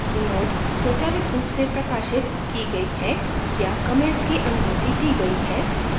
node स्वचालित रूप से प्रकाशित की गई है या comments की अनुमति दी गई है और